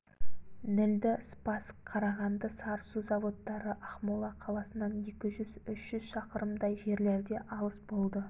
нілді спасск қарағанды сарысу заводтары ақмола қаласынан екі жүз үш жүз шақырымдай жерлерде алыс болды